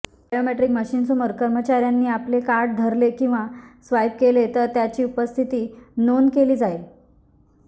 biometric मशीनसामेर कर्मचार्यांनी आपले कार्ड धरले किंवा स्वाईप केले तर त्याची उपस्थिती नोंद केली जाईल